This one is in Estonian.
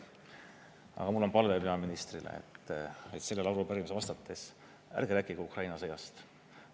Aga mul on palve peaministrile, et sellele arupärimisele vastates ärge rääkige Ukraina sõjast.